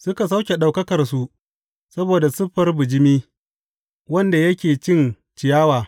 Suka sauke Ɗaukakarsu saboda siffar bijimi, wanda yake cin ciyawa.